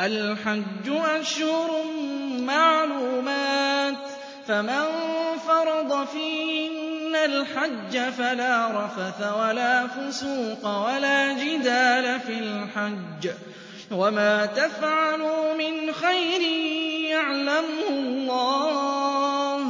الْحَجُّ أَشْهُرٌ مَّعْلُومَاتٌ ۚ فَمَن فَرَضَ فِيهِنَّ الْحَجَّ فَلَا رَفَثَ وَلَا فُسُوقَ وَلَا جِدَالَ فِي الْحَجِّ ۗ وَمَا تَفْعَلُوا مِنْ خَيْرٍ يَعْلَمْهُ اللَّهُ ۗ